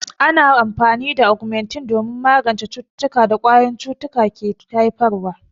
Ana amfani da Ogmentin don magance cututtukan da ƙwayoyin cuta ke haifarwa.